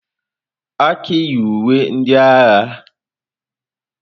Aki yi uwe ndị agha.